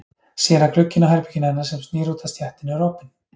Sér að glugginn á herberginu hennar sem snýr út að stéttinni er opinn.